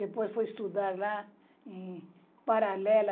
Depois fui estudar lá em Paralela